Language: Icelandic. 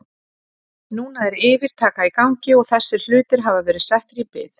Núna er yfirtaka í gangi og þessir hlutir hafa verið settir í bið.